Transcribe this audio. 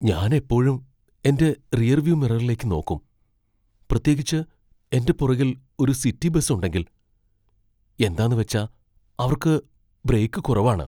ഞാൻ എപ്പോഴും എന്റെ റിയർവ്യൂ മിററിലേക്ക് നോക്കും , പ്രത്യേകിച്ച് എന്റെ പുറകിൽ ഒരു സിറ്റി ബസ് ഉണ്ടെങ്കിൽ . എന്താന്നുവച്ചാ അവർക്ക് ബ്രേക്കു കുറവാണ്.